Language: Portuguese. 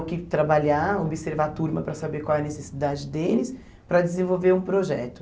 o que trabalhar, observar a turma para saber qual é a necessidade deles, para desenvolver um projeto.